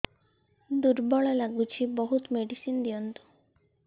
ଦୁର୍ବଳ ଲାଗୁଚି ବହୁତ ମେଡିସିନ ଦିଅନ୍ତୁ